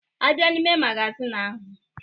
A bịa n'ime magazin ahụ.